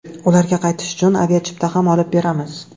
Ularga qaytish uchun aviachipta ham olib beramiz.